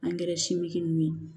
Angɛrɛ siminnu ye